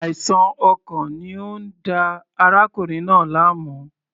Àìsàn ọkàn ni ó ń da arákùnrin náà láàmú.